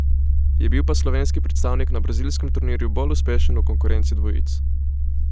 Je bil pa slovenski predstavnik na brazilskem turnirju bolj uspešen v konkurenci dvojic.